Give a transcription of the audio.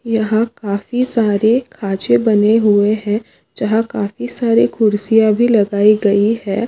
यह काफी सारे काचे बने हुए है। जहा काफी सारी खुर्सिया भी लगाई गई है।